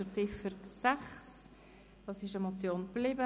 Die Ziffer 6 wird als Motion belassen.